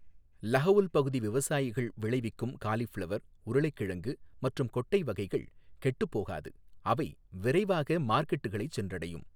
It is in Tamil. லஹவுல் பகுதி விவசாயிகள் விளைவிக்கும் காலிஃபிளவர், உருளைக்கிழங்கு மற்றும் கொட்டை வகைகள் கெட்டுப் போகாது, அவை விரைவாக மார்க்கெட்களைச் சென்றடையும்.